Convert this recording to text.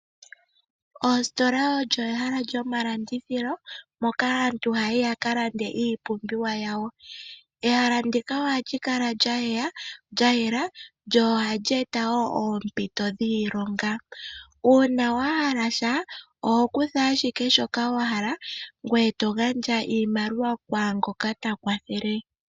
Oositola olyo ehala lyoma landithilo moka aantu ha yayi yaka lande iipumbiwa yawo. Ehala ndika ohali kala lya yela, lyo ohali eta woo oompito dhiilonga, uuna wuna shoka wahala oho kutha ashike shoka wahala, ngoye to gandja iimaliwa ku ngoka ta kwathele.